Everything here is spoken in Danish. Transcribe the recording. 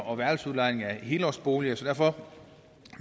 og værelsesudlejning af helårsboliger så derfor